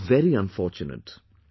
This is very unfortunate